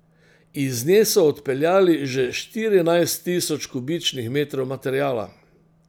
Iz nje so odpeljali že štirinajst tisoč kubičnih metrov materiala.